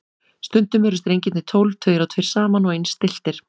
Stundum eru strengirnir tólf, tveir og tveir saman og eins stilltir.